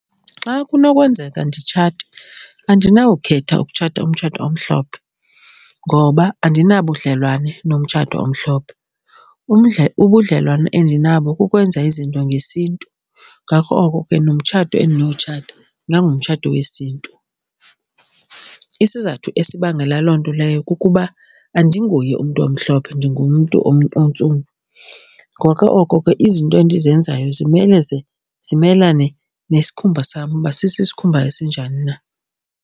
Xa kunokwenzeka nditshate andinawukhetha ukutshata umtshato omhlophe ngoba andinabudlelwane nomtshato omhlophe. Ubudlelwane endinabo kukwenza izinto ngesiNtu, ngako oko ke nomtshato endinowutshata ingangumtshato wesiNtu. Isizathu esibangela loo nto leyo kukuba andinguye umntu omhlophe ndingumntu ontsundu ngoko oko ke izinto endizenzayo zimele ze zimelane nesikhumba sam uba sisiskhumba esinjani na.